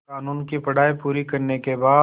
क़ानून की पढा़ई पूरी करने के बाद